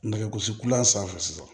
Nɛgɛ gosi kulan sanfɛ sisan